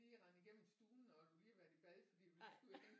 Lige rende igennem stuen fordi du lige har været i bad fordi du lige skal ud og hente